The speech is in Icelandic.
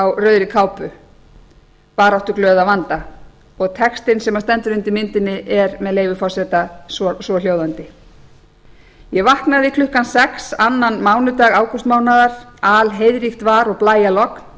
á rauðri kápu baráttuglöð að vanda og textinn sem stendur undir myndinni er með leyfi forseta svohljóðandi ég vaknaði klukkan sex annan mánudag ágústmánaðar að alheiðríkt var og blæjalogn